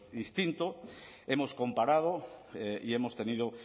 distinto hemos comparado y hemos tenido